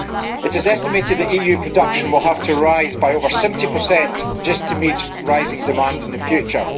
It is estimated that EU production will have to rise by over 70 just to meet rising demand in the future.